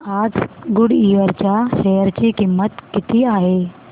आज गुडइयर च्या शेअर ची किंमत किती आहे